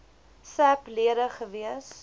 sap lede gewees